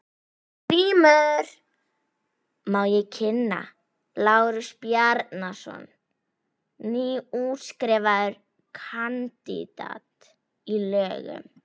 GRÍMUR: Má ég kynna: Lárus Bjarnason, nýútskrifaður kandidat í lögum.